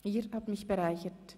Ihr habt mich bereichert.